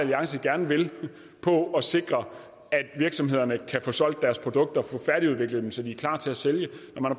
alliance gerne vil på at sikre at virksomhederne kan få solgt deres produkter få færdigudviklet dem så de er klar til at sælge